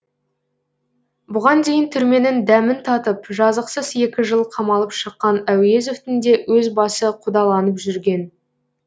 бұған дейін түрменің дәмін татып жазықсыз екі жыл қамалып шыққан әуезовтің де өз басы қудаланып жүрген